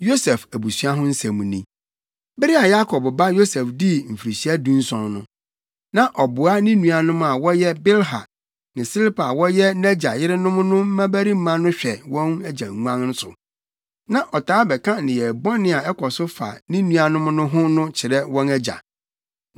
Yosef abusua ho asɛm ni: Bere a Yakob ba Yosef dii mfirihyia dunson no, na ɔboa ne nuanom a wɔyɛ Bilha ne Silpa a wɔyɛ nʼagya yerenom no mmabarima no hwɛ wɔn agya nguan so. Na ɔtaa bɛka nneyɛe bɔne a ɛkɔ so fa ne nuanom no ho no kyerɛ wɔn agya.